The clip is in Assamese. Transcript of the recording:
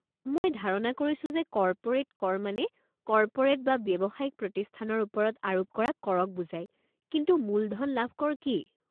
মই ধাৰণা কৰিছো যে কৰ্পোৰেট কৰ মানে কৰ্পোৰেট বা ব্যৱসায়িক প্ৰতিষ্ঠানৰ ওপৰত আৰোপ কৰা কৰক বুজায় কিন্তু মূলধন লাভ কৰ কি?